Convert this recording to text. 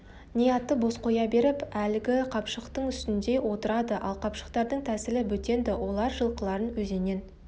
не атты бос қоя беріп әлгі қапшықтың үстіне отырады ал қыпшақтардың тәсілі бөтен-ді олар жылқыларын өзеннен